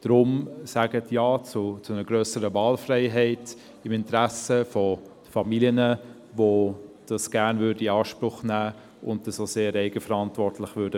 Darum: Sagen Sie Ja zu einer grösseren Wahlfreiheit, im Interesse von Familien, die dies gerne in Anspruch nehmen und es auch sehr eigenverantwortlich tun würden.